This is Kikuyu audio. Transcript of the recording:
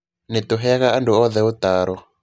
Nĩ tũheaga andũ othe ũtaaro.